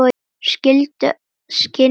Skynjun almennt